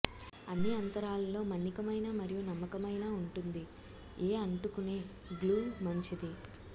అన్ని అంతరాలలో మన్నికైన మరియు నమ్మకమైన ఉంటుంది ఏ అంటుకునే గ్లూ మంచిది